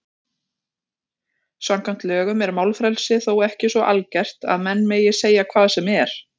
Samkvæmt lögum er málfrelsi þó ekki svo algert að menn megi segja hvað sem er.